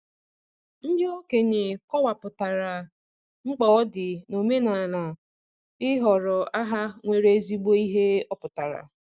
Ndị okenye kọwapụtara, mkpa ọ dị n'omenala ịhọrọ aha nwere ezigbo ihe ọpụtara.